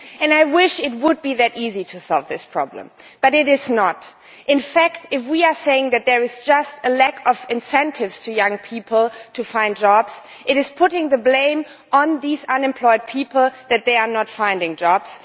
I wish it were that easy to solve this problem, but it is not. In fact, if we say that there is just a lack of incentives for young people to find jobs this is placing the blame on these unemployed people for not finding jobs.